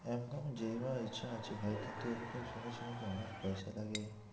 একদমই ইচ্ছা আছে ভাই কিন্তু এতে শুনেছি নাকি অনেক পয়সা লাগে?